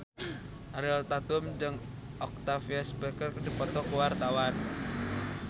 Ariel Tatum jeung Octavia Spencer keur dipoto ku wartawan